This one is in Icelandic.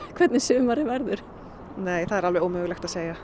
hvernig sumarið verður nei það er alveg ómögulegt að segja